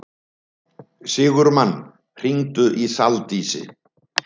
Sigurmann, hringdu í Saldísi.